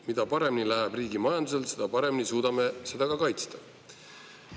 Mida paremini läheb riigi majandusel, seda paremini suudame seda ka kaitsta.